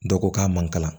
Dɔ ko k'a man kalan